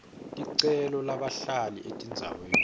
ticelo labahlala etindzaweni